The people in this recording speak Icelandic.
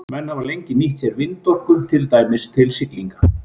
Menn hafa lengi nýtt sér vindorku, til dæmis til siglinga.